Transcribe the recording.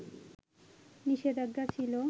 নিষেধাজ্ঞা ছিল